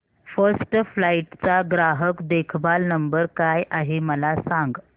first Flight चा ग्राहक देखभाल नंबर काय आहे मला सांग